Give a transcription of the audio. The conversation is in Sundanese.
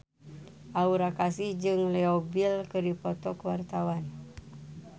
Aura Kasih jeung Leo Bill keur dipoto ku wartawan